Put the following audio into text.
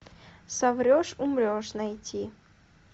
соврешь умрешь найти